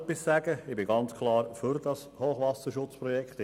Ich bin ganz klar für dieses Hochwasserschutzprojekt.